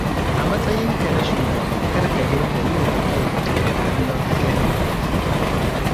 A matsayinka na shugaba kar ka dinga yiwa ma'aikatanka kallon hadarin kaji.